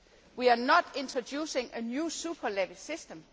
We are not introducing a new super levy system.